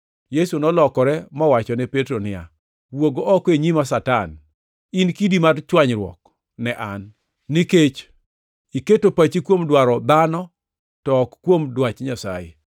Yesu nolokore mowachone Petro niya, “Wuog oko e nyima, Satan! In kidi mar chwanyruok ne an; nikech iketo pachi kuom dwaro dhano to ok kuom dwach Nyasaye.”